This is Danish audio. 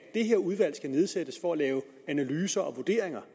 det her udvalg skal nedsættes for at lave analyser og vurderinger